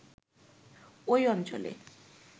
ওই অঞ্চলে